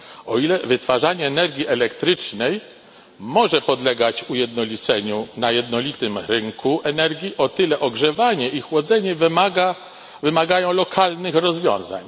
O ile wytwarzanie energii elektrycznej może podlegać ujednoliceniu na jednolitym rynku energii, o tyle ogrzewanie i chłodzenie wymagają lokalnych rozwiązań.